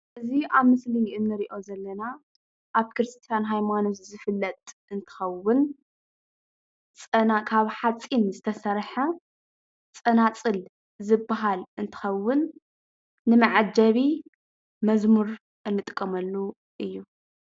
እዚ ኣብ ምስሊ እንሪኦ ዘለና ኣብ ክርስትያን ሃይማኖት ዝፍለጥ እንትኸውን ካብ ሓፂን ዝተሰርሐ ፀናፅል ዝበሃል እንትኸውን ንመዐጀቢ መዝሙር እንጥቀመሉ እዩ፡፡